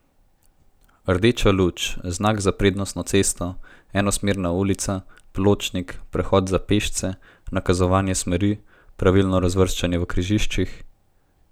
Rdeča luč, znak za na prednostno cesto, enosmerna ulica, pločnik, prehod za pešce, nakazovanje smeri, pravilno razvrščanje v križiščih...